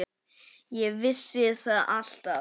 Ég vissi það alltaf.